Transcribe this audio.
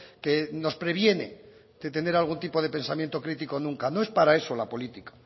que nos previene de tener algún tipo de pensamiento crítico nunca no es para eso la política